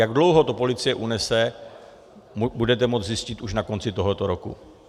Jak dlouho to policie unese, budete moci zjistit už na konci tohoto roku.